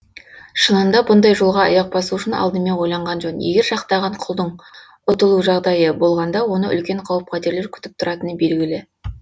шынында бұндай жолға аяқ басу үшін алдымен ойланған жөн егер жақтаған құлдың ұтылу жағдайы болғанда оны үлкен қауіп қатерлер күтіп тұратыны белгілі